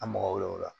An mago bɛ o la